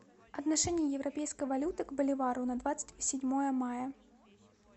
отношение европейской валюты к боливару на двадцать седьмое мая